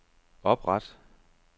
opret